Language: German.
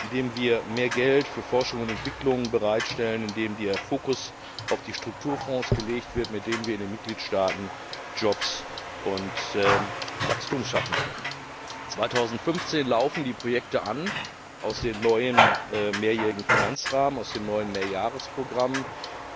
indem wir mehr Geld für Forschung und Entwicklung bereitstellen, indem der Fokus auf die Strukturfonds gelegt wird, mit denen wir in den Mitgliedstaaten Jobs und Wachstum schaffen können. 2015 laufen die Projekte aus dem neuen mehrjährigen Finanzrahmen, aus den neuen Mehrjahresprogrammen